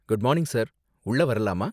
Good morning sir, உள்ள வரலாமா?